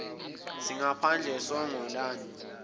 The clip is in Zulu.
singaphandle songo lani